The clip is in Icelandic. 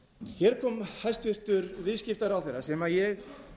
hér kom hæstvirtur viðskiptaráðherra sem ég